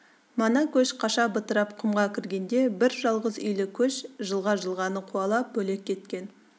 мана көш қаша бытырап құмға кіргенде бір жалғыз үйлі көш жылға-жылғаны қуалап бөлек кеткен